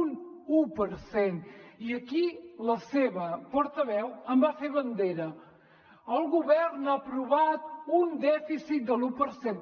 un un per cent i aquí la seva portaveu en va fer bandera el govern ha aprovat un dèficit de l’un per cent